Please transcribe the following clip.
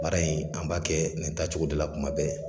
Baara in an b'a kɛ nin tacogo de la kuma bɛɛ.